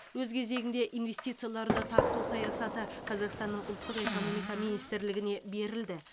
өз кезегінде инвестицияларды тарту саясаты қазақстанның ұлттық экономика министрлігіне берілді